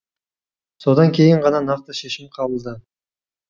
содан кейін ғана нақты шешім қабылда